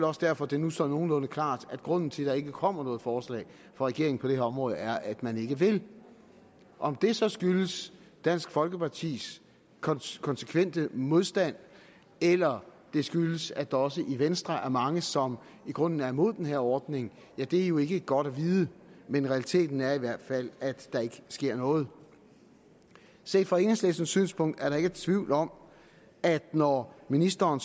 også derfor det nu står nogenlunde klart at grunden til at der ikke kommer noget forslag fra regeringen på det her område er at man ikke vil om det så skyldes dansk folkepartis konsekvente modstand eller det skyldes at der også i venstre er mange som i grunden er imod den her ordning er jo ikke godt at vide men realiteten er i hvert fald at der ikke sker noget set fra enhedslistens synspunkt er der ikke tvivl om at når ministeren